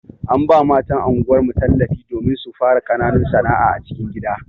An ba matan anguwar mu tallafi domin su fara ƙananun sana'a a cikin gida.